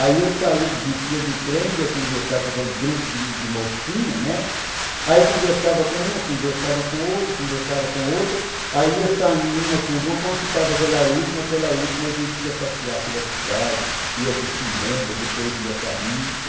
Aí eu saía, descia do trem, ia conversar com aquele grupo de mocinha, né, aí conversava com uma, conversava com outra, conversava com outra, aí ia saindo uma por uma, quando ficava aquela última, aquela última a gente ia passear pela cidade, ia para o cinema, depois ia para a missa.